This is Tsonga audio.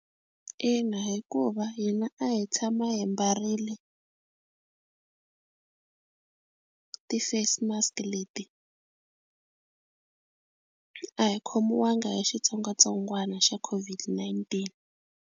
Ina hikuva hina a hi tshama hi mbarile ti-face mask leti a hi khomiwanga hi xitsongwatsongwana xa COVID-19.